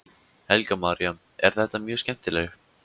Helga María: Er þetta mjög skemmtileg?